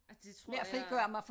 At det tror jeg